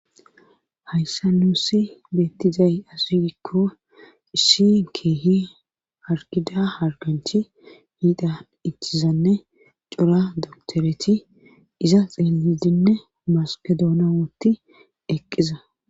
Hayssa nuussi beettizay asgikko isshi keehi hargida harganchi hiidan icchizanne cora doktoreti iza xeelidinne maskedoona wootti eqqiza.